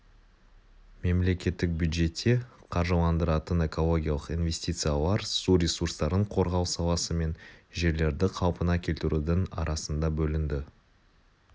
мемлекеттік бюджетте қаржыландыратын экологиялық инвестициялар су ресурстарын қорғау саласы мен жерлерді қалпына келтірудің арасында бөлінді